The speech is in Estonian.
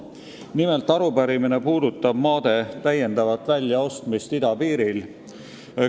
Nimelt, arupärimine puudutab maade täiendavat väljaostmist idapiiril.